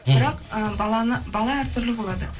бірақ ыыы бала әр түрлі болады